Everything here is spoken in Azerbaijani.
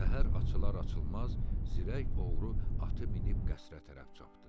Səhər açılar-açılmaz zirək oğru atı minib qəsrə tərəf çapdı.